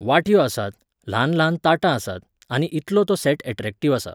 वाटयो आसात, ल्हान ल्हान ताटां आसात, आनी इतलो तो सॅट ऍट्रॅक्टिव आसा.